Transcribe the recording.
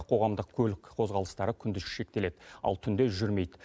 қоғамдық көлік қозғалыстары күндіз шектеледі ал түнде жүрмейді